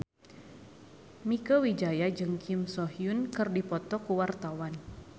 Mieke Wijaya jeung Kim So Hyun keur dipoto ku wartawan